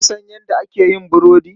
Ka san yadda ake yin burodi?